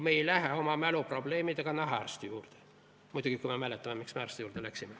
Me ei lähe oma mäluprobleemidega nahaarsti juurde – muidugi kui me mäletame, miks me arsti juurde läksime.